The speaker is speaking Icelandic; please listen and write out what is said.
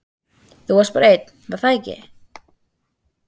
Þú varst bara einn, var það ekki?